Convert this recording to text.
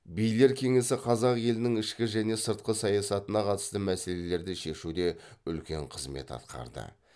билер кеңесі қазақ елінің ішкі және сыртқы саясатына қатысты мәселелерді шешуде үлкен қызмет атқарды